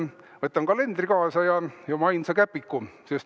Võtan kalendri kaasa ja oma ainsa käpiku.